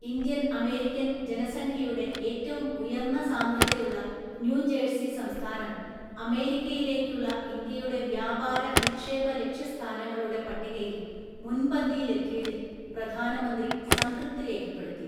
Indian‍ American‍ ജനസംഖ്യയുടെ ഏറ്റവും ഉയർന്ന സാന്ദ്രതയുള്ള ന്യൂജേഴ്സി സംസ്ഥാനം അമേരിക്കയിലേയ്ക്കുള്ള ഇന്ത്യയുടെ വ്യാപാര, നിക്ഷേപ ലക്ഷ്യസ്ഥാനങ്ങളുടെ പട്ടികയില്‍ മുൻപന്തിയില്‍ എത്തിയതില്‍ പ്രധാനമന്ത്രി സംതൃപ്തി രേഖപ്പെടുത്തി.